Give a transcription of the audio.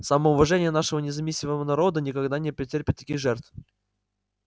самоуважение нашего независимого народа никогда не потерпит таких жертв